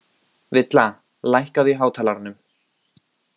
Villa, lækkaðu í hátalaranum.